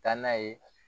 Taa n'a ye